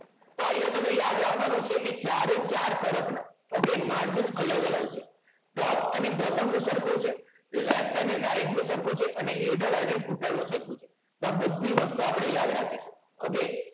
તો આયા તમારે યાદ રખવાનું છે કૅ ચારે ચાર તરફ ના okay margin અલગ અલગ છે top અને bottom નું સરખું છે left અને right નું સરખું છે અને header અને footer નું સરખું છેતો આ બધી વસ્તુ આપણે યાદ રાખીશું